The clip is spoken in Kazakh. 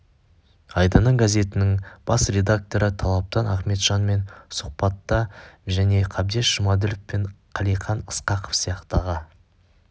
айдыны газетінің бас редакторы талаптан ахметжанмен сұхбатта және қабдеш жұмаділов пен қалиқан ысқақов сияқты аға